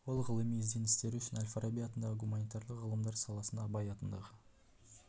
ол ғылыми ізденістері үшін әл-фараби атындағы гуманитарлық ғылымдар саласында абай атындағы